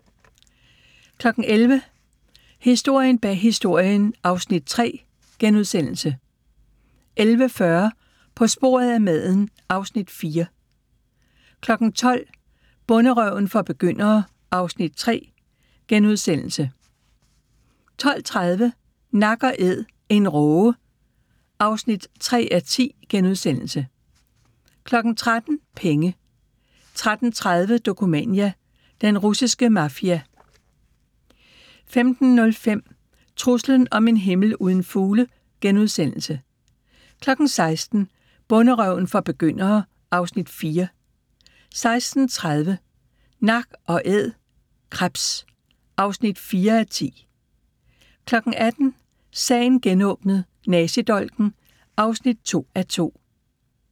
11:00: Historien bag Historien (Afs. 3)* 11:40: På sporet af maden (Afs. 4) 12:00: Bonderøven for begyndere (Afs. 3)* 12:30: Nak & æd - en råge (3:10)* 13:00: Penge 13:30: Dokumania: Den russiske mafia 15:05: Truslen om en himmel uden fugle * 16:00: Bonderøven for begyndere (Afs. 4) 16:30: Nak & æd – krebs (4:10) 18:00: Sagen genåbnet: Nazidolken (2:2)